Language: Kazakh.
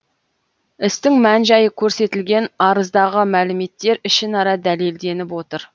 істің мән жайы көрсетілген арыздағы мәліметтер ішінара дәлелденіп отыр